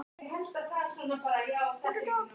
Kittý, hvað er á innkaupalistanum mínum?